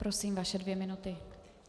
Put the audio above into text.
Prosím, vaše dvě minuty.